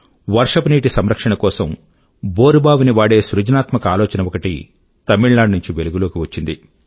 వర్షపు నీటి సంరక్షణ కోసం బోరుబావిని వాడే సృజనాత్మక ఆలోచన ఒకటి తమిళ నాడు నుంచి వెలుగు లోకి వచ్చింది